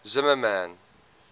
zimmermann